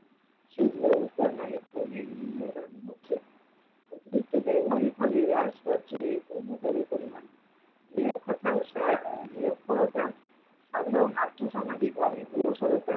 সেচ ব্যাবস্থার নামে হচ্ছে, অতিরিক্ত ব্যাবহারের ফলে হ্রাস পাচ্ছে ভৌমজলের পরিমান, নিরক্ষরতা, সাধারন আর্থসামাজিক অনগ্রসরতা।